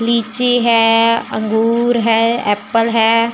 लीची है अंगूर है एप्पल है।